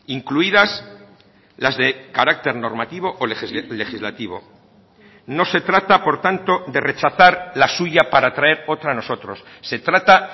incluidas las de carácter normativo o legislativo no se trata por tanto de rechazar la suya para traer otra nosotros se trata